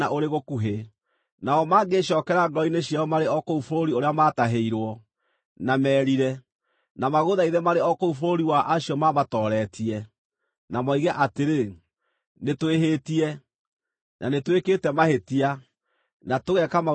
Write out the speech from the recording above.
nao mangĩĩcookera ngoro-inĩ ciao marĩ o kũu bũrũri ũrĩa maatahĩirwo, na merire, na magũthaithe marĩ o kũu bũrũri wa acio mamatooretie, na moige atĩrĩ, ‘Nĩtwĩhĩtie, na nĩtwĩkĩte mahĩtia, na tũgeka maũndũ ma waganu’;